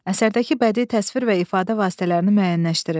Əsərdəki bədii təsvir və ifadə vasitələrini müəyyənləşdirin.